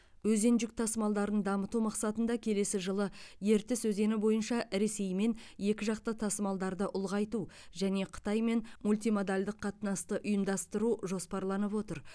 өзен жүк тасымалдарын дамыту мақсатында келесі жылы ертіс өзені бойынша ресеймен екіжақты тасымалдарды ұлғайту және қытаймен мультимодальдық қатынасты ұйымдастыру жоспарланып отыр